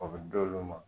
O bɛ d'olu ma